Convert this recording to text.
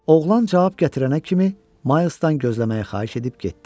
Oğlan cavab gətirənə kimi Milesdan gözləməyi xahiş edib getdi.